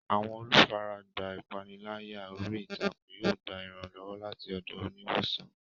Àwọn olùfaragbá ìpániláyà orí ìtàkùn yóò gba ìrànlọ́wọ́ láti ọ̀dọ̀ oníwòsàn.